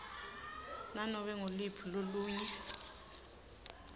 nanobe nguluphi lolunye